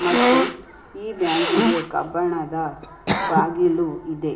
ಮತ್ತು ಈ ಬ್ಯಾಂಕಿಗೆ ಕಬ್ಬಣದ ಬಾಗಿಲು ಇದೆ.